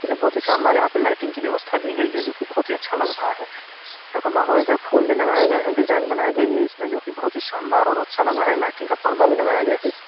क्यूकी बहुत ही शानदार यहां पे लाइटिंग की व्यवस्था दी गई है जो की बहुत ही अच्छा लग रहा है इधर फूल भी लगाये गए है डिजाइन बनाई गई है इसमे जो की बहुत ही शानदार और अच्छा लग रहा है लाइटिंग का पर्दा भी लग गया है इस --